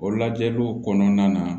O lajɛliw kɔnɔna na